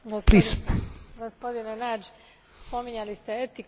Gospodine Nagy, spominjali ste etiku i politiku.